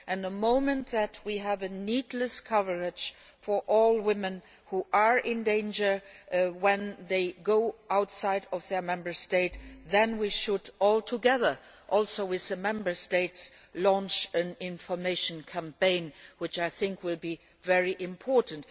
The moment we have the necessary coverage for all women who are in danger when they go outside their Member States then we should, together with the Member States, launch an information campaign, which I think will be very important.